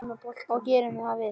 Og það gerum við.